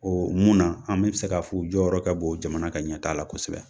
mun na an bɛɛ bɛ se k'a fɔ u jɔyɔrɔ ka bon jamana ka ɲɛtaa la kosɛbɛ.